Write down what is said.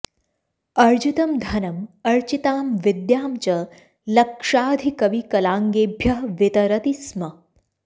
अर्जितं धनम् अर्चितां विद्यां च लक्षाधिकविकलाङ्गेभ्यः वितरति स्म